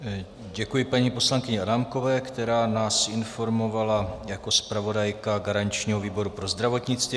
Děkuji paní poslankyni Adámkové, která nás informovala jako zpravodajka garančního výboru pro zdravotnictví.